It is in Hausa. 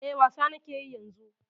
E, wasa na ke yi yanzu.